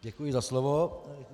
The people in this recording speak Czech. Děkuji za slovo.